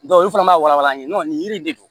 olu fana b'a walan ye nin yiri in de don